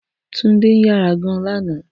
Tunde ń yára gan-an lánàá